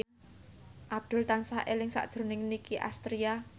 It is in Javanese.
Abdul tansah eling sakjroning Nicky Astria